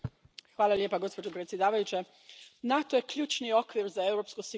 Gospođo predsjedavajuća, NATO je ključni okvir za europsku sigurnost.